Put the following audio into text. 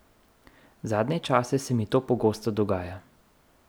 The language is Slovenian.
Zadnje čase se mi to pogosto dogaja.